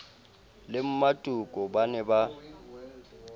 le mmatoko ba ne ba